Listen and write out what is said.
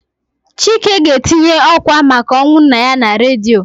Chike ga-etinye ọ́kwà maka ọnwụ nna ya na redio.